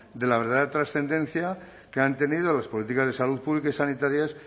de la verdadera transcendencia que han tenido las políticas de salud pública y sanitarias